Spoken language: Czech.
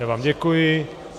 Já vám děkuji.